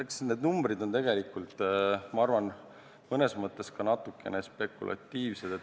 Nii et eks need numbrid ole tegelikult, ma arvan, mõnes mõttes ka natuke spekulatiivsed.